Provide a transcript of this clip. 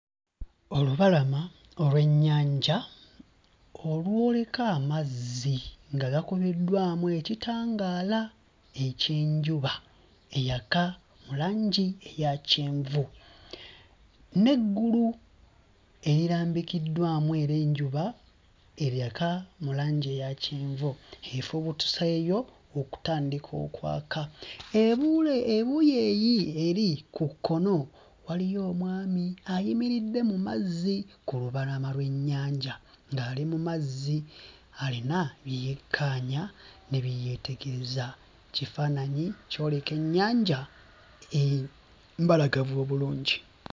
Olubalama olw'ennyanja olwoleka amazzi nga gakubiddwamu ekitangaala eky'enjuba eyaka mu langi eya kyenvu n'eggulu erirambikiddwamu era enjuba eyaka mu langi eya kyenvu efubuutuseeyo okutandika okwaka. E Buule ebuuyi eyi eri ku kkono waliyo omwami ayimiridde mu mazzi ku lubalama lw'ennyanja ng'ali mu mazzi alina bye yekkaanya ne bye yeetegereza kifaananyi kyoleka ennyanja eh mbalagavu obulungi.